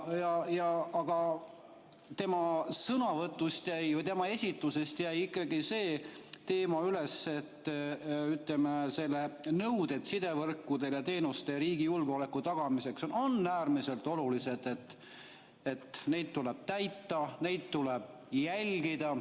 Aga tema sõnavõtust või tema esitusest jäi ikkagi see teema üles, ütleme, et nõuded sidevõrkude ja -teenuste ja riigi julgeoleku tagamiseks on äärmiselt olulised, neid tuleb täita ja neid tuleb jälgida.